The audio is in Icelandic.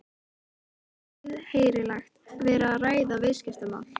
Það er auðheyrilega verið að ræða viðskiptamál.